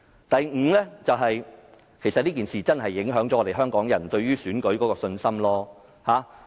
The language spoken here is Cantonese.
第五，這次事件確實影響了香港人對選舉制度的信心。